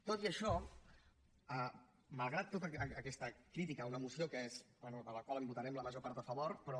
tot i això malgrat tota aquesta crítica a una moció de la qual votarem la major part a favor però